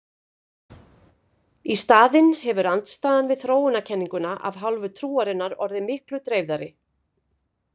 Í staðinn hefur andstaðan við þróunarkenninguna af hálfu trúarinnar orðið miklu dreifðari.